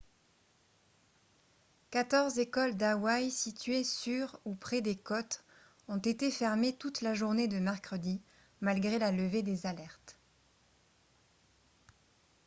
quatorze écoles d'hawaii situées sur ou près des côtes ont été fermées toute la journée de mercredi malgré la levée des alertes